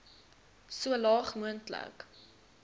so laag moontlik